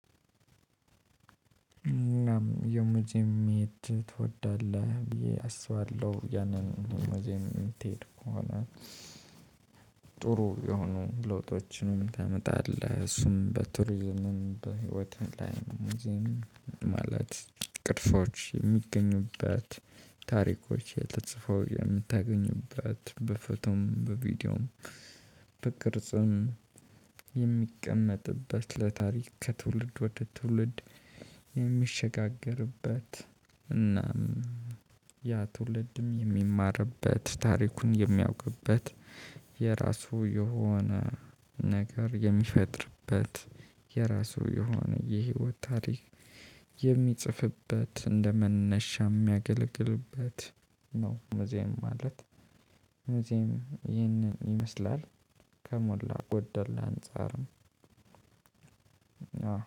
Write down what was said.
እናም የመጀመሪያ ትወዳለህ ብዬ አስባለሁ ያንን ወይም የምትሄድ ከሆነ ጥሩ የሆኑ ለውጦችንም ታመጣለህ እሱም በቱሪዝምም በህይወትህ ላይም ማለት ቅርሶች የሚገኙበት ታሪኮች ተፅፈው የምታገኝበት በፎቶም በቪዲዮም በቅርጽም የሚቀመጥበት ለታሪክ ከትውልድ ወደ ትውልድ የሚሸጋገርበት እና ያ ትውልድም የሚማርበት ታሪኩን የሚያውቅበት የራሱ የሆነ ነገር የሚፈጥርበት የራሱ የሆነ የህይወት ታሪክ የሚጽፍበት እንደ መነሻ የሚያገለግልበት ነው። ሙዚየም ማለት ሙዚየም ይህንን ይመስላል። ከሞላ ጎደል አንፃርም